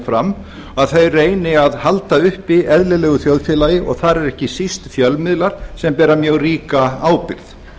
fram að þeir reyni að halda uppi eðlilegu þjóðfélagi og þar eru ekki síst fjölmiðlar sem bera mjög ríka ábyrgð